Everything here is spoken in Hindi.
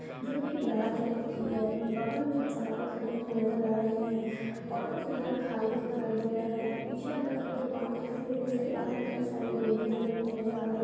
जो की लाल रंग की है। बगल में कुछ बाइक खड़ी हुई नज़र आ रही है। ऑटो फिलहाल खाली दिखाई दे रहा है। पीछे की तरफ एक दुकान दिख रहा है। जिसके बाहर कई सारी डोरियाँ जमी हुई नज़र आ रही है।